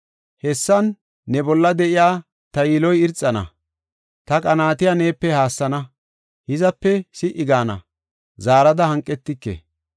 Hessan ne bolla de7iya ta yiloy irxana; ta qanaatiya neepe haassana; hizape si77i gaana; zaarada hanqetike.